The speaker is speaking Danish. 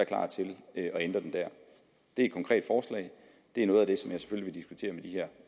klar til at ændre det der det er et konkret forslag det er noget af det som jeg selvfølgelig vil diskutere